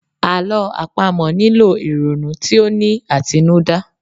Àlọ́́ àpamọ̀ nílò ìrònú tí ó ní àtinúdá.